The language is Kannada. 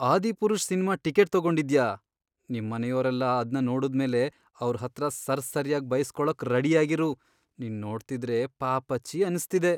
ಆದಿಪುರುಷ್ ಸಿನ್ಮಾ ಟಿಕೆಟ್ ತಗೊಂಡಿದ್ಯಾ.. ನಿಮ್ಮನೆಯೋರೆಲ್ಲ ಅದ್ನ ನೋಡುದ್ಮೇಲೆ ಅವ್ರ್ ಹತ್ರ ಸರ್ಸರ್ಯಾಗ್ ಬೈಸ್ಕೊಳಕ್ ರೆಡಿಯಾಗಿರು, ನಿನ್ ನೋಡ್ತಿದ್ರೆ ಪಾಪಚ್ಚಿ ಅನ್ಸ್ತಿದೆ.